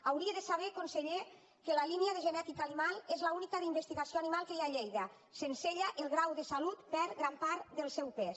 hauria de saber conseller que la línia de genètica animal és l’única d’investigació animal que hi ha a lleida sense ella el grau de salut perd gran part del seu pes